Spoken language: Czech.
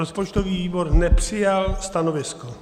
Rozpočtový výbor nepřijal stanovisko.